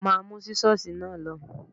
Má mú Sísọ́sìì náà lọ.